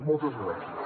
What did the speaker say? moltes gràcies